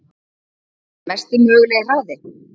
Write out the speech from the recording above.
Mesti mögulegi hraði?